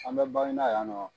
An bɛ Baginda yan nɔ